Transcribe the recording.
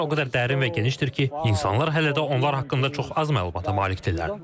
Onlar o qədər dərin və genişdir ki, insanlar hələ də onlar haqqında çox az məlumata malikdirlər.